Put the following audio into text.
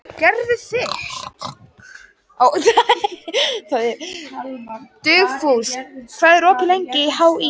Dugfús, hvað er opið lengi í HÍ?